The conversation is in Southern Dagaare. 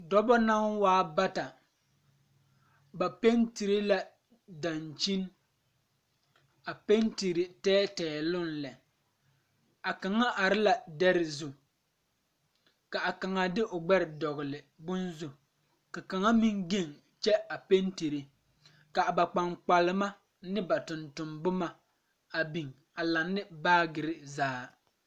Dɔbɔ naŋ waa bata ba pentire la daŋkyini a pentire tɛɛtɛɛloŋ lɛ a kaŋa are la dɛre zu kaa kaŋa de o gbɛre dɔgle bonzu ka kaŋa meŋ geŋ kyɛ a pentire kaa ba kpaŋkpalma ne ba tonton boma a biŋ a laŋne baagirre zaa.